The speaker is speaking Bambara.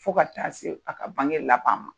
Fo ka taa se a ka bange laban ma.